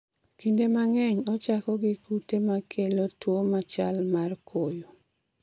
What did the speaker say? Kinde mang'eny ochako gi kute ma kelo tuwo machal mar koyo